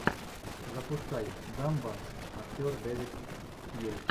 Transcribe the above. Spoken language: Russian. запускай дамба актер дэвид тьюлис